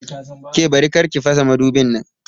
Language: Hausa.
Ke Bari!kar ki fasa madubin nan!